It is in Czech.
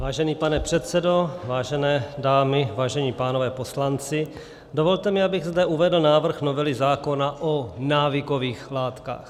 Vážený pane předsedo, vážené dámy, vážení pánové poslanci, dovolte mi, abych zde uvedl návrh novely zákona o návykových látkách.